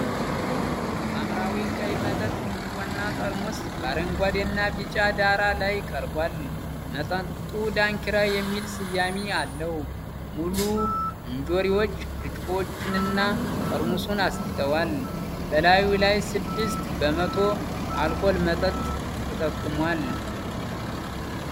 ሐምራዊ ቀይ መጠጥ ብርጭቆና ጠርሙስ በአረንጓዴና ቢጫ ዳራ ላይ ቀርቧል። መጠጡ 'ዳንኪራ' የሚል ስያሜ አለው። ሙሉ እንጆሪዎች ብርጭቆውንና ጠርሙሱን አስጌጠዋል። በላዩ ላይ የስድስት በመቶ አልኮል መጠን ተጠቁሟል።